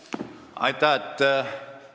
Aitäh!